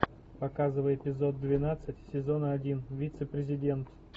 показывай эпизод двенадцать сезона один вице президент